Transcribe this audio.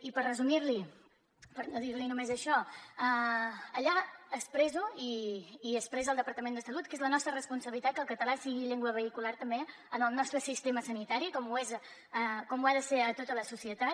i per resumir li per no dir li només això allà expresso i expressa el departament de salut que és la nostra responsabilitat que el català sigui llengua vehicular també en el nostre sistema sanitari com ho ha de ser a tota la societat